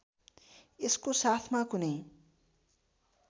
यसको साथमा कुनै